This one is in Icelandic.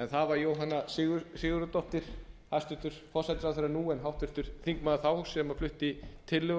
en það var jóhanna sigurðardóttir hæstvirtur forsætisráðherra nú en háttvirtur þingmaður þá sem flutti tillögur